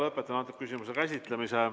Lõpetan antud küsimuse käsitlemise.